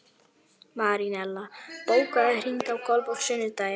Marinella, bókaðu hring í golf á sunnudaginn.